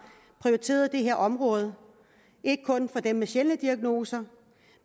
prioriteret det her område ikke kun for dem med sjældne diagnoser